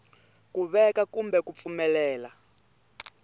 ku veka kumbe ku pfumelela